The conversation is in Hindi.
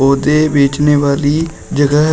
पौधे बेचने वाली जगह है।